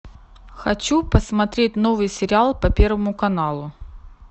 хочу посмотреть новый сериал по первому каналу